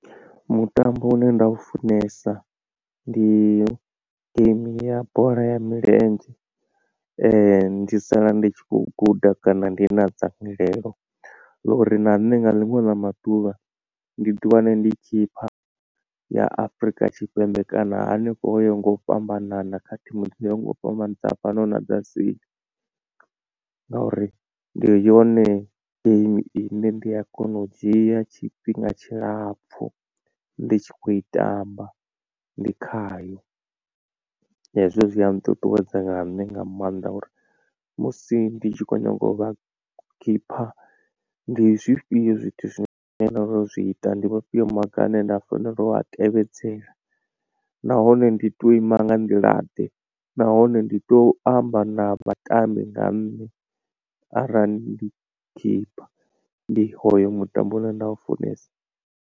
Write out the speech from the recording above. Mutambo une nda u funesa ndi game ya bola ya milenzhe ndi sala ndi tshi kho guda kana ndi na dzangalelo ḽa uri na nṋe nga ḽiṅwe ḽa maḓuvha ndi ḓi wane ndi khipha ya afrika tshipembe kana hanefho ho ya ho nga u fhambanana kha thimu dzo yaho nga u fhambana dza fhano na dza seli. Ngauri ndi yone game ine ndi a kona u dzhia tshifhinga tshilapfu ndi tshi khou i tamba ndi khayo hezwo zwi a nṱuṱuwedza na nṋe nga maanḓa uri musi ndi tshi khou nyanga u vha keeper ndi zwifhio zwithu zwine zwi ita ndi vhafhio maga ane nda fanela u a tevhedzela, nahone ndi to ima nga nḓila ḓe nahone ndi to amba na vhatambi nga nṋe arali ndi khipha ndi hoyo mutambo une nda u funesa.